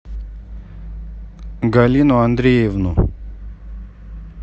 галину андреевну